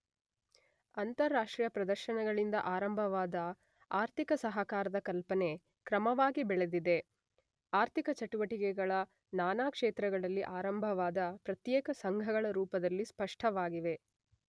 ಅಂತಾರಾಷ್ಟ್ರೀಯ ಪ್ರದರ್ಶನಗಳಿಂದ ಆರಂಭವಾದ ಆರ್ಥಿಕ ಸಹಕಾರದ ಕಲ್ಪನೆ ಕ್ರಮವಾಗಿ ಬೆಳೆದಿದೆ: ಆರ್ಥಿಕ ಚಟುವಟಿಕೆಗಳ ನಾನಾ ಕ್ಷೇತ್ರಗಳಲ್ಲಿ ಆರಂಭವಾದ ಪ್ರತ್ಯೇಕ ಸಂಘಗಳ ರೂಪದಲ್ಲಿ ಸ್ಪಷ್ಟವಾಗಿದೆ.